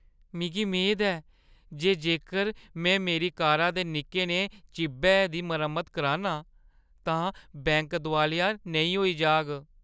मिगी मेद ऐ जे जेकर में मेरी कारा दे निक्के नेहे चिब्बै दी मरम्मत करान्नां तां बैंक दोआलिया नेईं होई जाह्‌ग।